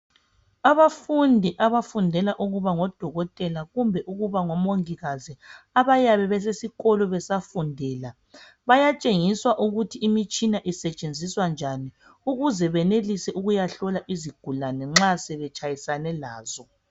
Abafundi abafundela ukuba ngodokotela kumbe ukuba ngomongikazi abayabe besesikolo besafundela bayatshengiswa ukuthi imitshina isetshenziswa njani ukuze benelise ukuya hlola izigulane nxa sebetshayisane lazo.